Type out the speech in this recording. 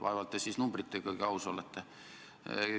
Vaevalt te siis numbritegagi aus olete.